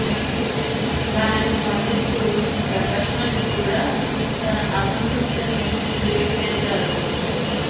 దానికి స్పందిస్తూ ప్రకాశ్ రాజ్ కూడా తన అసంతృప్తిని ట్వీట్ చేశారు